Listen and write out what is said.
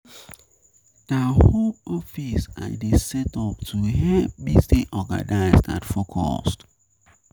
Na home office I dey set up to help me stay organized and focused.